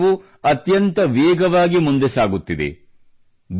ಈ ಕ್ಷೇತ್ರವು ಅತ್ಯಂತ ವೇಗವಾಗಿ ಮುಂದೆ ಸಾಗುತ್ತಿದೆ